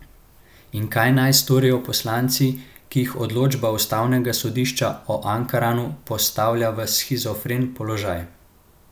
In kaj naj storijo poslanci, ki jih odločba ustavnega sodišča o Ankaranu postavlja v shizofren položaj?